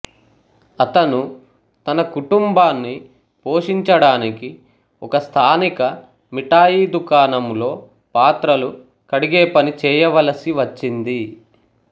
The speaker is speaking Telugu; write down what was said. అతను తన కుటుంబాన్ని పోషించడానికి ఒకస్థానిక మిఠాయి దుకాణంలో పాత్రలు కడిగేపని చేయవలసి వచ్చింది